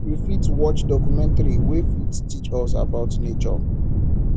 we fit watch documentary wey fit teach us about nature